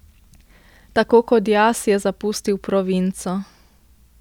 Tako kot jaz je zapustil provinco.